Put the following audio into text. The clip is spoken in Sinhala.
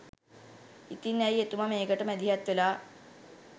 ඉතින් ඇයි එතුම මේකට මැදිහත් වෙලා